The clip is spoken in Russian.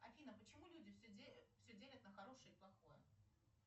афина почему люди все делят на хорошее и плохое